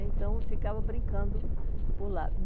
Então, eu ficava brincando por lá.